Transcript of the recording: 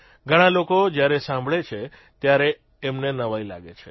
ઘણા લોકો જયારે સાંભળે છે ત્યારે એમને નવાઇ લાગે છે